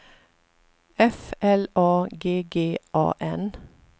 F L A G G A N